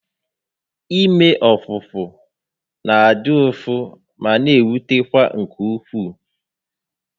Ime ọpụpụ na adị ụfụ ma n'ewutekwa nke ukwuu